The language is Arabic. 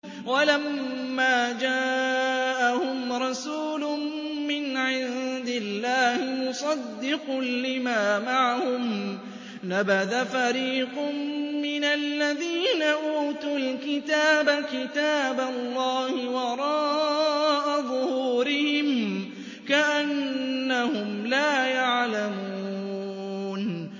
وَلَمَّا جَاءَهُمْ رَسُولٌ مِّنْ عِندِ اللَّهِ مُصَدِّقٌ لِّمَا مَعَهُمْ نَبَذَ فَرِيقٌ مِّنَ الَّذِينَ أُوتُوا الْكِتَابَ كِتَابَ اللَّهِ وَرَاءَ ظُهُورِهِمْ كَأَنَّهُمْ لَا يَعْلَمُونَ